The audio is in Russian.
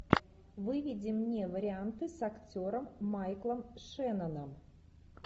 выведи мне варианты с актером майклом шенноном